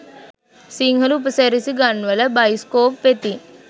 සිංහල උපසිරැසි ගන්වල බයිස්කෝප් වෙතින්